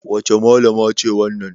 Wace Mallama ce wannan?